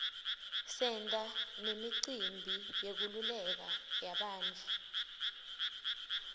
senta nemicimbi yenkululeko yabantfu